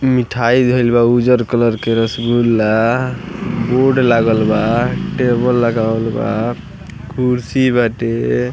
मिठाई धईल बा उज़र कलर के रसगुल्ला बोर्ड लागल बा टेबल लगावल बा कुर्सी बाटे।